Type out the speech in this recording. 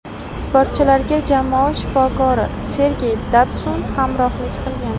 Sportchilarga jamoa shifokori Sergey Datsun hamrohlik qilgan.